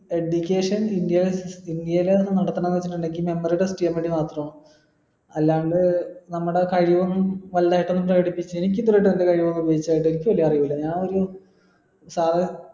education India ഇന്ത്യയിൽ അല്ലാണ്ട് നമ്മടെ കഴിവും എനിക്ക് ഇതുവരെ ആയിട്ടും എന്റെ കഴിവ് ഉപോയിഗിച്ചതായി എനിക്ക് വെല്യ അറിവില്ല ഞാൻ ഒരു സാധനം